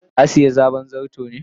ka siya sabon zarto ne?